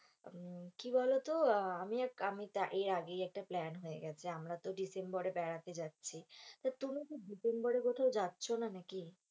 উম কি বোলো তো, আমি আমি এর আগেই একটা প্ল্যান হয়ে গেছে, আমরা তো ডিসেম্বরে বেড়াতে যাচ্ছি, তা তুমি কি ডিসেম্বরে কোথাও যাচ্ছ না নাকি,